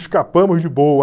Escapamos de boa.